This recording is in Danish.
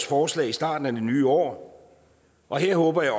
forslag i starten af det nye år og jeg håber at